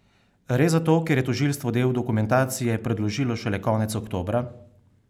Res zato, ker je tožilstvo del dokumentacije predložilo šele konec oktobra?